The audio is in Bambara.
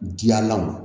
Diyalanw